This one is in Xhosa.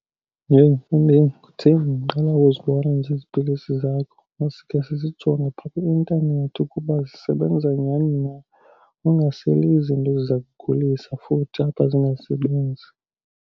Yheyi mfondini, kutheni ndiqala ukuzibona nje ezi pilisi zakho? Masikhe sizijonge phaa kwi-intanethi ukuba zisebenza nyani na. Ungaseli izinto eziza kugulisa futhi apha, zingasebenzi.